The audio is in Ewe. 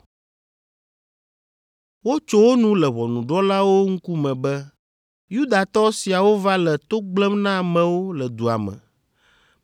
Wotso wo nu le ʋɔnudrɔ̃lawo ŋkume be, “Yudatɔ siawo va le to gblẽm na amewo le dua me